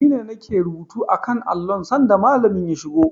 Ni ne nake rubuta a kan allon sanda Malamin ya shigo.